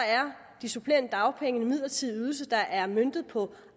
de supplerende dagpenge en midlertidig ydelse der er møntet på